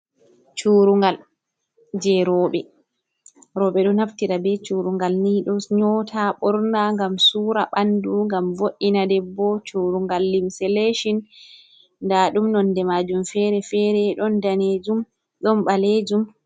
Curungal je rowɓe. Rowɓe ɗo naftira be curungal ni ɗo nyota ɓorna ngam sura ɓandu ngam vo’ina debbo. Curungal limse lecin nda ɗum nonde majum fere fere ɗon danejum ɗon ɓalejum.